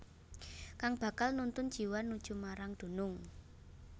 Kang bakal nuntun jiwa nuju marang dunung